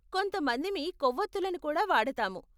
కొంత మందిమి కొవ్వోత్తులను కూడా వాడతాము.